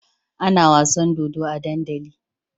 Ana wasan dodo a dandali